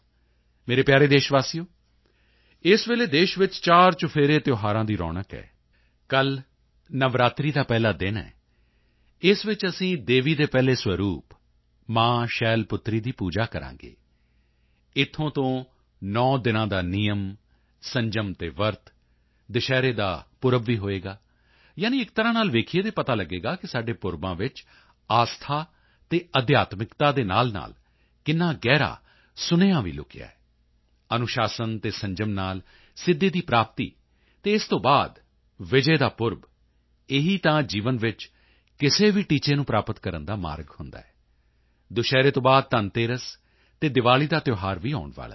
ਮੇਰੇ ਪਿਆਰੇ ਦੇਸ਼ਵਾਸੀਓ ਇਸ ਵੇਲੇ ਦੇਸ਼ ਵਿੱਚ ਚਾਰਚੁਫੇਰੇ ਤਿਉਹਾਰਾਂ ਦੀ ਰੌਣਕ ਹੈ ਕੱਲ੍ਹ ਨਵਰਾਤਰੀ ਦਾ ਪਹਿਲਾ ਦਿਨ ਹੈ ਇਸ ਵਿੱਚ ਅਸੀਂ ਦੇਵੀ ਦੇ ਪਹਿਲੇ ਸਵਰੂਪ ਮਾਂ ਸ਼ੈਲ ਪੁੱਤਰੀ ਦੀ ਪੂਜਾ ਕਰਾਂਗੇ ਇੱਥੋਂ ਤੋਂ 9 ਦਿਨਾਂ ਦਾ ਨਿਯਮ ਸੰਜਮ ਅਤੇ ਵਰਤ ਦੁਸ਼ਹਿਰੇ ਦਾ ਪੁਰਬ ਵੀ ਹੋਵੇਗਾ ਯਾਨੀ ਇੱਕ ਤਰ੍ਹਾਂ ਨਾਲ ਦੇਖੀਏ ਤਾਂ ਪਤਾ ਲੱਗੇਗਾ ਕਿ ਸਾਡੇ ਪੁਰਬਾਂ ਵਿੱਚ ਆਸਥਾ ਅਤੇ ਅਧਿਆਤਮਿਕਤਾ ਦੇ ਨਾਲਨਾਲ ਕਿੰਨਾ ਗਹਿਰਾ ਸੰਦੇਸ਼ ਵੀ ਛੁਪਿਆ ਹੋਇਆ ਹੈ ਅਨੁਸ਼ਾਸਨ ਅਤੇ ਸੰਜਮ ਨਾਲ ਸਿੱਧੀ ਦੀ ਪ੍ਰਾਪਤੀ ਅਤੇ ਇਸ ਤੋਂ ਬਾਅਦ ਵਿਜੇ ਦਾ ਪੁਰਬ ਇਹੀ ਤਾਂ ਜੀਵਨ ਵਿੱਚ ਕਿਸੇ ਵੀ ਟੀਚੇ ਨੂੰ ਪ੍ਰਾਪਤ ਕਰਨ ਦਾ ਮਾਰਗ ਹੁੰਦਾ ਹੈ ਦੁਸ਼ਹਿਰੇ ਤੋਂ ਬਾਅਦ ਧਨ ਤੇਰਸ ਅਤੇ ਦੀਵਾਲੀ ਦਾ ਵੀ ਤਿਉਹਾਰ ਆਉਣ ਵਾਲਾ ਹੈ